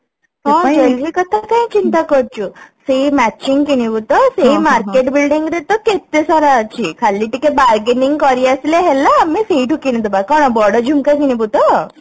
ହଁ Jewellery କଥା କାଇଁ ଚିନ୍ତା କରୁଛୁ matching କିଣିବୁ ତ ସେଇ market building ରେ ତ କେତେ ସାରା ଅଛି ଖାଲି ଟିକେ bargaining କରି ଆସିଲେ ହେଲା ଆଏମେ ସେଇଠୁ କିଣିଦବା କଣ ବଡ ଝୁମକା କିଣିବୁ ତ